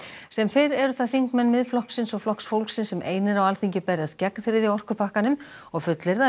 sem fyrr eru það þingmenn Miðflokksins og Flokks fólksins sem einir á Alþingi berjast gegn þriðja orkupakkanum og fullyrða að